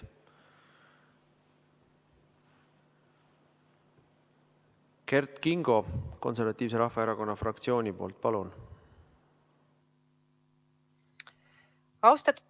Kert Kingo Eesti Konservatiivse Rahvaerakonna fraktsiooni nimel, palun!